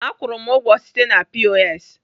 Akwụru m ụgwọ site na POS.